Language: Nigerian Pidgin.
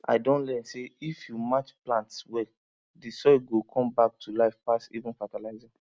i don learn say if you match plants well the soil go come back to life pass even fertilizer